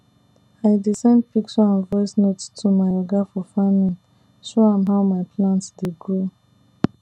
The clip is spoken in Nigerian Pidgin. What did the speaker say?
i dey send picture and voice note to my oga for farming show am how my plant dey grow